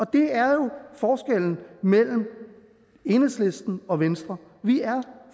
det er jo forskellen mellem enhedslisten og venstre vi er